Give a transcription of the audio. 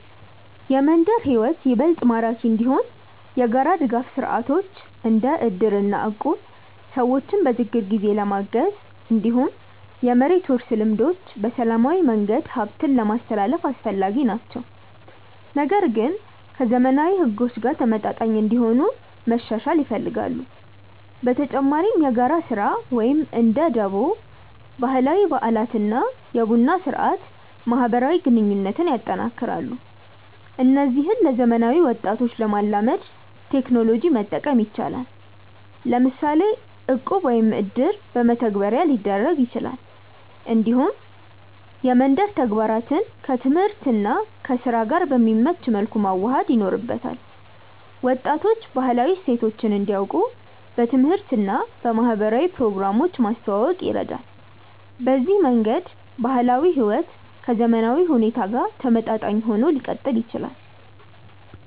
የመንደር ሕይወት ይበልጥ ማራኪ እንዲሆን የጋራ ድጋፍ ስርዓቶች እንደ እድር እና እቁብ ሰዎችን በችግር ጊዜ ለማገዝ፣ እንዲሁም የመሬት ውርስ ልምዶች በሰላማዊ መንገድ ሀብትን ለማስትላልፍ አስፈላጊ ናቸው፣ ግን ከዘመናዊ ሕጎች ጋር ተመጣጣኝ እንዲሆኑ መሻሻል ይፈልጋሉ። በተጨማሪ የጋራ ስራ (እንደ ደቦ)፣ ባህላዊ በዓላት እና የቡና ስርአት ማህበራዊ ግንኙነትን ያጠናክራሉ። እነዚህን ለዘመናዊ ወጣቶች ለማላመድ ቴክኖሎጂ መጠቀም ይቻላል፤ ለምሳሌ እቁብ ወይም እድር በመተግበሪያ ሊደረግ ይችላል። እንዲሁም የመንደር ተግባራትን ከትምህርት እና ከስራ ጋር በሚመች መልኩ መዋሃድ ይኖርበታል። ወጣቶች ባህላዊ እሴቶችን እንዲያውቁ በትምህርት እና በማህበራዊ ፕሮግራሞች ማስተዋወቅ ይረዳል። በዚህ መንገድ ባህላዊ ሕይወት ከዘመናዊ ሁኔታ ጋር ተመጣጣኝ ሆኖ ሊቀጥል ይችላል።